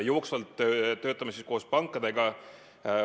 Jooksvalt töötame koos pankadega.